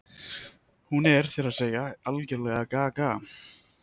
Hún er, þér að segja, algerlega gaga.